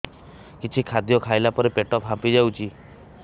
କିଛି ଖାଦ୍ୟ ଖାଇଲା ପରେ ପେଟ ଫାମ୍ପି ଯାଉଛି